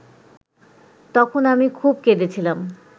তখন আমি খুব কেঁদেছিলাম